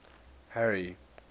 harry